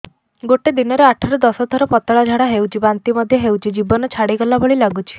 ଗୋଟେ ଦିନରେ ଆଠ ରୁ ଦଶ ଥର ପତଳା ଝାଡା ହେଉଛି ବାନ୍ତି ମଧ୍ୟ ହେଉଛି ଜୀବନ ଛାଡିଗଲା ଭଳି ଲଗୁଛି